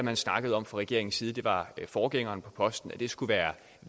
har snakket om fra regeringens side det var forgængeren på posten at det skulle være